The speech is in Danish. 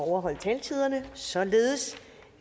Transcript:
at overholde taletiden således